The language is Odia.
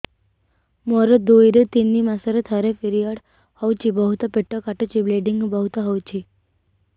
ମୋର ଦୁଇରୁ ତିନି ମାସରେ ଥରେ ପିରିଅଡ଼ ହଉଛି ବହୁତ ପେଟ କାଟୁଛି ବ୍ଲିଡ଼ିଙ୍ଗ ବହୁତ ହଉଛି